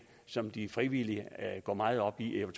som de frivillige går meget op i jeg